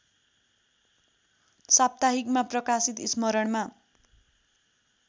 साप्ताहिकमा प्रकाशित स्मरणमा